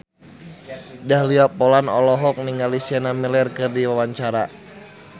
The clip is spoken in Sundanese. Dahlia Poland olohok ningali Sienna Miller keur diwawancara